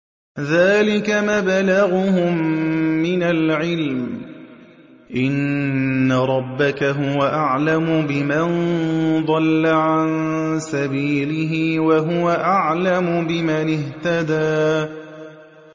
ذَٰلِكَ مَبْلَغُهُم مِّنَ الْعِلْمِ ۚ إِنَّ رَبَّكَ هُوَ أَعْلَمُ بِمَن ضَلَّ عَن سَبِيلِهِ وَهُوَ أَعْلَمُ بِمَنِ اهْتَدَىٰ